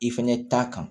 I fɛnɛ ta kan